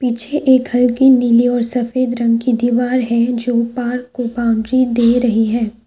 पीछे एक घर की नीली और सफेद रंग की दीवार है जो पार्क को बाउंड्री दे रही है।